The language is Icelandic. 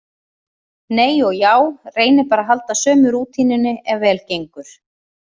Nei og já, reyni bara að halda sömu rútínunni ef vel gengur.